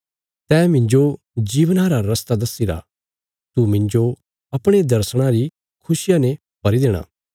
तैं मिन्जो जीवना रा रस्ता दस्सीरा तू मिन्जो अपणे दर्शणा री खुशिया ने भरी देणा